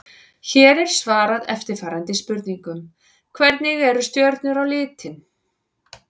Hér er svarað eftirfarandi spurningum: Hvernig eru stjörnur á litinn?